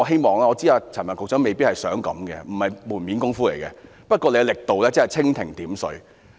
我知道陳帆局長未必想是做門面工夫，不過他的力度實在如蜻蜓點水。